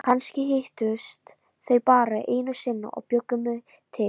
Kannski hittust þau bara einu sinni og bjuggu mig til.